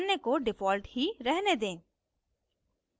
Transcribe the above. अन्य को default ही रहने दें